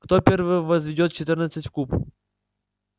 кто первый возведёт четырнадцать в куб